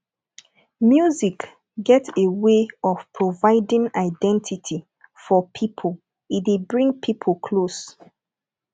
music get a way of providing identity for pipo e dey bring pipo close